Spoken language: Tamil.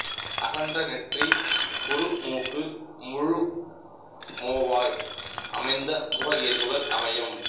அகன்ற நெற்றி குறுமூக்கு முழுமோவாய் அமைந்த முக இயல்புகள் அமையும்